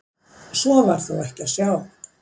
Svo var þó ekki að sjá.